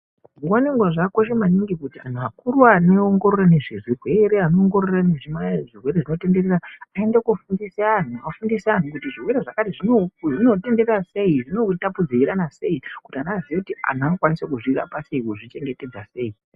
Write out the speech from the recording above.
Nguwa nenguwa zvakakosha maningi kuti antu akuru anoongorora nezvezvirwere zvinotenderera aende kofundisa kuti zvirwere zvakati zvinottenderera sei ,zvinotapudzirwana sei uye antu anozvirapa sei azozvichengetedza sei.